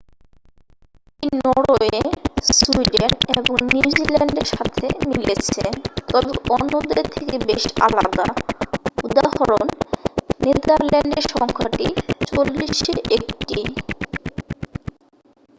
এটি Norway Sweden এবং নিউজিল্যান্ডের সাথে মিলেছে তবে অন্যদের থেকে বেশ আলাদা উদাঃ নেদারল্যান্ডে সংখ্যাটি চল্লিশে একটি।